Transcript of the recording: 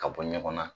Ka bɔ ɲɔgɔn na